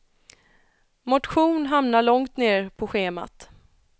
Motion hamnar långt ner på schemat.